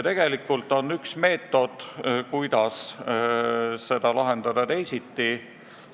Tegelikult on üks hea meetod, kuidas seda probleemi võiks lahendada.